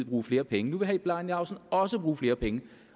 bruge flere penge nu vil herre bjarne laustsen også bruge flere penge